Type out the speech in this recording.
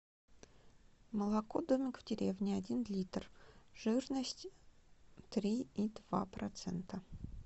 молоко домик в деревне один литр жирность три и два процента